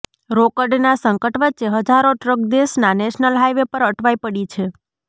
રોકડના સંકટ વચ્ચે હજારો ટ્રક દેશના નેશનલ હાઇવે પર અટવાઇ પડી છે